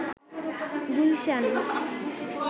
Gulshan